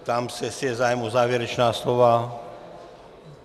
Ptám se, jestli je zájem o závěrečná slova.